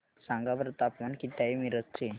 सांगा बरं तापमान किती आहे मिरज चे